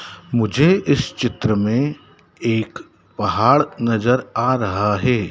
मुझे इस चित्र में एक पहाड़ नजर आ रहा है।